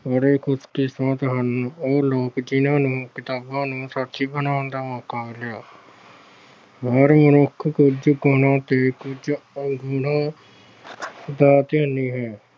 ਬੜੇ ਖੁਸ਼ਕਿਸਮਤ ਹਨ, ਉਹ ਲੋਕ ਜਿਹਨਾਂ ਨੂੰ ਕਿਤਾਬਾਂ ਨੂੰ ਸਾਥੀ ਬਣਾਉਣ ਦਾ ਮੌਕਾ ਮਿਲਿਆ। ਹਰ ਮਨੁੱਖ ਕੁਝ ਗੁਣਾ ਤੇ ਔਗੁਣਾ ਦਾ ਹੈ।